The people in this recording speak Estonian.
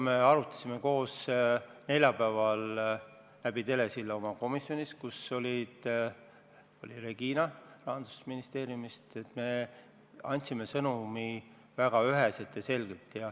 Me arutasime seda neljapäeval telesilla vahendusel oma komisjonis, kus oli Regina Vällik Rahandusministeeriumist, ning andsime oma sõnumi edasi väga üheselt ja selgelt.